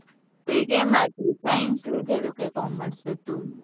તો science લીધેલુ કે commerce હતું